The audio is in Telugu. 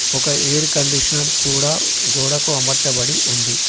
ఒక ఎయిర్ కండిషనర్ కూడ గోడకు అమర్చబడి ఉంది.